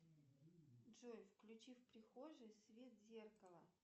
джой включи в прихожей свет зеркала